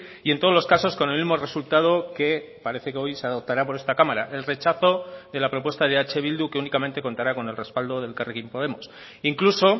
y en todos los casos con el mismo resultado que parece que hoy se adoptará por esta cámara el rechazo de la propuesta de eh bildu que únicamente contará con el respaldo de elkarrekin podemos incluso